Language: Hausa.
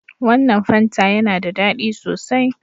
Wannan fanta yana da ɗadi sosai.